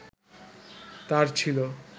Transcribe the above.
তার ছিল